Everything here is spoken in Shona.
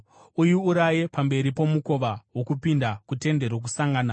Uiuraye pamberi pomukova wokupinda kuTende Rokusangana.